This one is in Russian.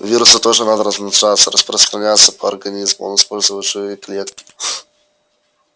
вирусу тоже надо размножаться распространяться по организму он использует живые клетки